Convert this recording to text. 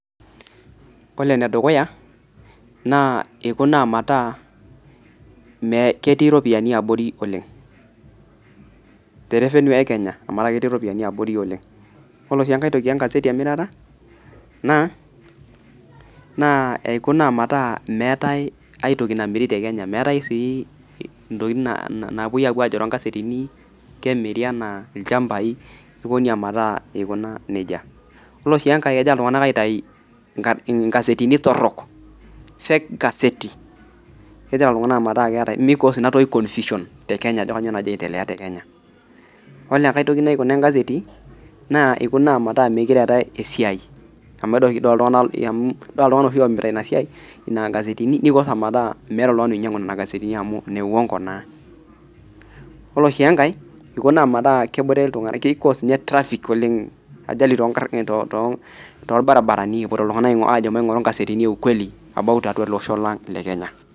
Ore ene dukuya, naa ikuna maata ketii iropiyani abori Oleng' terevenue enkenya amuu etaa ketii iropiyani abori oleng' ore sii enkae toki engazeti emirata naa, naa ikuna maata meetai aitoki namiri tekenya meetai sii intoki naa naapoi ajo toongazetini kemiri enaa ilchamabai niko nejia meeta ikuna nejia ore sii enke egira iltung'ana aitayu ingazetini torrok, cs[fake]cs cs[gazeti]cs kegira iltung'ana meeta keetai nikoos ina toki cs[confusion]cs tekenya meeta ajo kanyio nagira aendelea tekenya, ore enkae toki naikuna engazeti naa ikuna meeta meikura metii esiai, amuu ore shida amuu ore oshi iltung'ana oomirita ina siai ina gaesetini nikoos ameeta meeta oltung'ani oinyang'u nena aasetini naamu neiungo naa, ore sii enkae ikuna ametaa kebore iltung'ana keikoos traffic oleng ajali tonkarr toolbaribarani epoito iltung'ana ajo kingoru ingasetini eukweli ele osho lang' lekenya.